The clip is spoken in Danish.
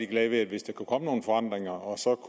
glad hvis der kunne komme nogle forandringer og så